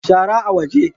Shara a waje